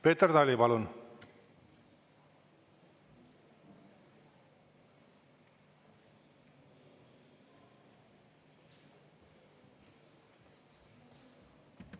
Peeter Tali, palun!